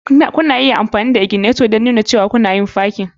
Kuna iya amfani da ignitor don nuna cewa kuna yin parking.